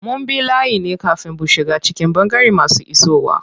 Mun bi layi ne kafin bu shiga cikin ɓangaren masu isowa.